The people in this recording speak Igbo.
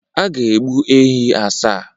A ga-egbukwa ehi asaa.